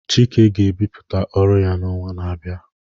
Chike ga-ebipụta ọrụ ya n'ọnwa na-abịa